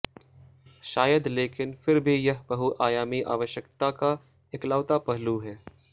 शायद लेकिन फिर भी यह बहुआयामी आवश्यकता का इकलौता पहलू है